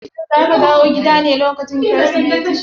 Shin zaka dawo gida ne lokacin Kirsimeti?